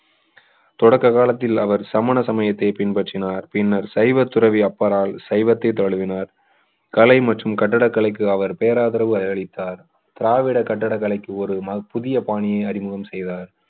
தொடக்க காலத்தில் அவர் சமண சமயத்தை பின்பற்றினார் பின்னர் சைவ துறவி அப்பரால் சைவத்தை தழுவினார் கலை மற்றும் கட்டிடக்கலைக்கு அவர் பேராதரவை அளித்தார் திராவிட கட்டிடக்கலைக்கு ஒரு புதிய பாணியை அறிமுகம் செய்தார்